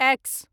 x